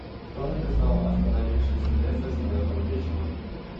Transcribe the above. кто написал остановившись у леса снежным вечером